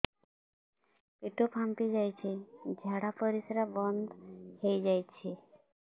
ପେଟ ଫାମ୍ପି ଯାଇଛି ଝାଡ଼ା ପରିସ୍ରା ବନ୍ଦ ହେଇଯାଇଛି